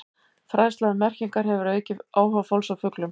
Fræðsla um merkingar hefur aukið áhuga fólks á fuglum.